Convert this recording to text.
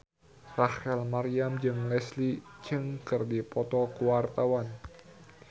Rachel Maryam jeung Leslie Cheung keur dipoto ku wartawan